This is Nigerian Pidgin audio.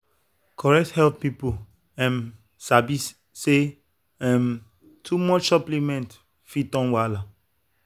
correct health people um sabi say um too much supplement fit turn wahala.